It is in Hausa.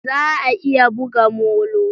Za a iya buga molo?